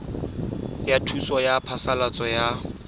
ya thuso ya phasalatso ya